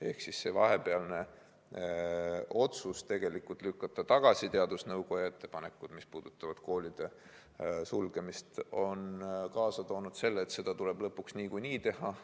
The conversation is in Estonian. Ehk siis see vahepealne otsus lükata tagasi teadusnõukoja ettepanekud, mis puudutasid koolide sulgemist, on kaasa toonud selle, et seda tuleb lõpuks ikkagi teha.